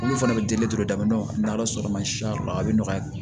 Olu fana bɛ deli daminɛ n'a ye sɔrɔ ma siya yɔrɔ la a bɛ nɔgɔya